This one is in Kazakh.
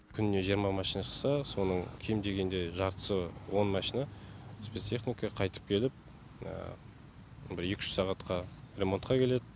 күніне жиырма машина шықса соның кем дегенде жартысы он машина спецтехника қайтып келіп бір екі үш сағатқа ремонтқа келеді